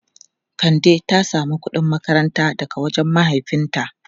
Kande ta samu kudin makaranta daga wajen mahaifinta.